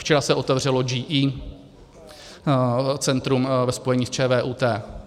Včera se otevřelo GE centrum ve spojení s ČVUT.